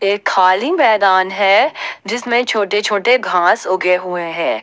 ये खाली मैदान है जिसमे छोटे छोटे घांस उगे हुए है।